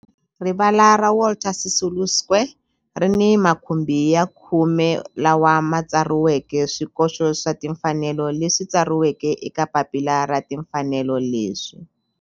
Rivala ra Walter Sisulu Square ri ni makhumbi ya khume lawa ma tsariweke swikoxo swa timfanelo leswi tsariweke eka papila ra timfanelo leswi.